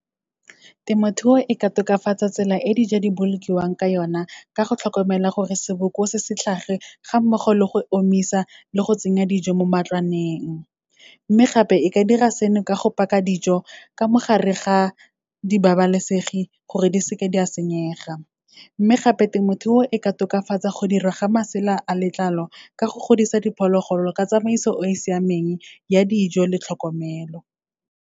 Temothuo e ka tokafatsa tsela e dijo di bolokiwang ka yona, ka go tlhokomela gore seboko se se tlhage ga mmogo le go omisa le go tsenya dijo mo matlwaneng. Mme gape, e ka dira seno ka go paka dijo ka mo gare ga di babalesegi gore di seke di a senyega. Mme gape, temothuo e ka tokafatsa go dirwa ga masela a letlalo, ka go godisa diphologolo ka tsamaiso e siameng ya dijo le tlhokomelo.